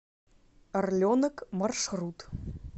орленок маршрут